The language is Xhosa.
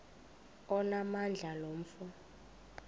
onamandla lo mfo